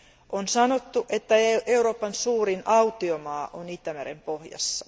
On sanottu, että Euroopan suurin autiomaa on Itämeren pohjassa.